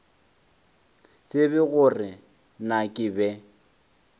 tsebe gore na ke be